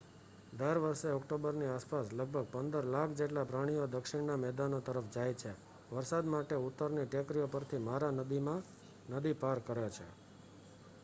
દર વર્ષે ઓક્ટોબરની આસપાસ લગભગ 15 લાખ જેટલા પ્રાણીઓ દક્ષિણના મેદાનો તરફ જાય છે વરસાદ માટે ઉત્તરની ટેકરીઓ પરથી મારા નદી પાર કરે છે